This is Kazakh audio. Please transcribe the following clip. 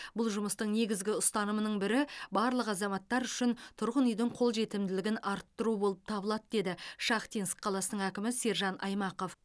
бұл жұмыстың негізгі ұстанымының бірі барлық азаматтар үшін тұрғын үйдің қолжетімділігін арттыру болып табылады деді шахтинск қаласының әкімі сержан аймақов